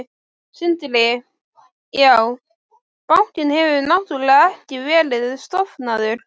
Sindri: Já, bankinn hefur náttúrulega ekki verið stofnaður?